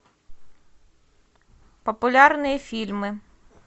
популярные фильмы